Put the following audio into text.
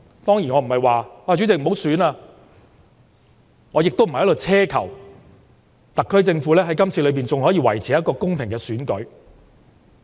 當然我不會要求不要舉行選舉，我也並非在此奢求特區政府在今次的選舉中，仍可以維持公平公正。